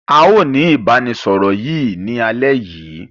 Aó ni ìbánisọọ̀rọ̀ yìí ni alẹ̀ yìí.